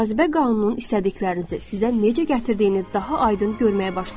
cazibə qanunun istədiklərinizi sizə necə gətirdiyini daha aydın görməyə başlayacaqsınız.